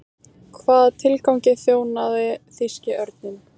Hvaða tilgangi þjónaði þýski örninn?